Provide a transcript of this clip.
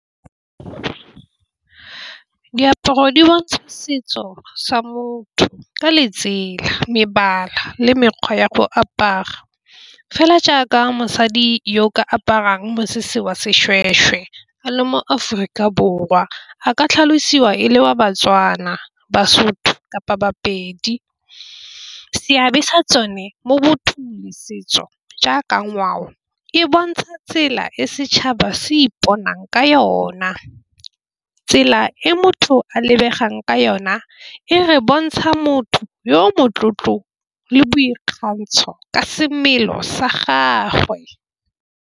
Diaparo di bontsha setso sa motho ka letsela mebala le mekgwa ya go apara, fela jaaka mosadi yo o ka aparang mosese wa seshweshwe a le mo-Aforika Borwa a ka tlhalosiwa e le wa Batswana, Basotho kapa Bapedi. Seabe sa tsone mo bothusi setso jaaka ngwao e bontsha tsela e setšhaba se iponang ka yona. Tsela e motho a lebegang ka yona e re bontsha motho yo motlotlo le boikgantsho ka semelo sa gagwe.